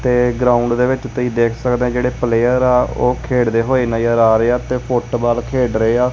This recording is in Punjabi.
ਤੇ ਗਰਾਊਂਡ ਦੇ ਵਿੱਚ ਤੁਸੀ ਦੇਖ ਸਕਦੇ ਆ ਜਿਹੜੇ ਪਲੇਅਰ ਆ ਓਹ ਖੇਡ ਦੇ ਹੋਏ ਨਜ਼ਰ ਆ ਰਹੇ ਆ ਤੇ ਫੁੱਟਬਾਲ ਖੇਡ ਰਹੇ ਆ।